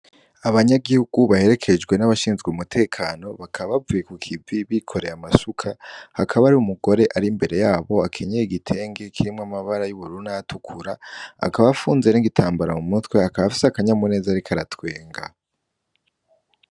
Abanyagihugu baherekejwe n'abashinzwe n'umutekano bakaba bavuye kukivibi bikoreye amasuka, hakaba hari umugore ari imbere yabo akenyeye igitenge kirimwo amabara y'ubururu nayatukura. Akaba afunze n'igitambara mu mutwe akaba afise n'akanyamuneza ariko aratwenga.